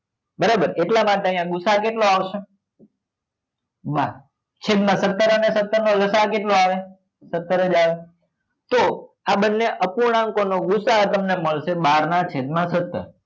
બરાબર એટલા માટે અહિયાં ગુ સા અ કેટલો આવશે બાર છેદ માં સત્તર અને સત્તર નો લસા અ કેટલો આવે સત્તર જ આવે તો આ બંને અપૂર્ણાંકો નો ગુ સા અ તમને મળશે બાર નાં છેદ માં સત્તર